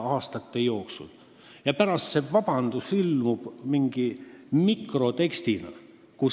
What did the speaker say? Ja pärast ilmub heal juhul kuskil vabandus mingi mikrotekstina.